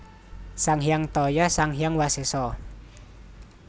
Sang Hyang Taya Sang Hyang Wasesa